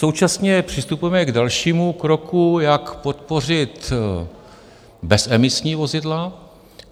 Současně přistupujeme k dalšímu kroku, jak podpořit bezemisní vozidla.